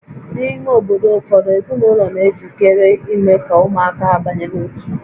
N'ime obodo ụfọdụ, ezinụlọ na-ejikere ime ka ụmụaka ha banye n'ótú